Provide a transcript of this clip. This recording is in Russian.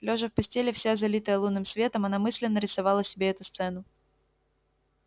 лёжа в постели вся залитая лунным светом она мысленно рисовала себе эту сцену